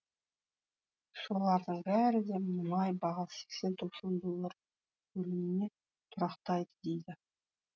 солардың бәрі де мұнай бағасы сексен тоқсан доллар көлеміне тұрақтайды дейді